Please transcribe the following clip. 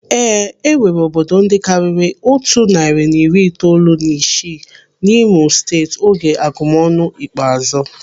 Ee, enwere obodo ndị karịrị otu narị na iri itoolu na isii n'Imo Steeti oge agụmọnụ ikpeazụ.